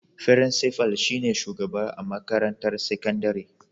Firinsifal shi ne shugaba a makarantar sakandire.